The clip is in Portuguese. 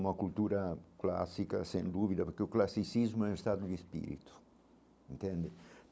Uma cultura clássica, sem dúvida, porque o classicismo é um estado de espírito, entende?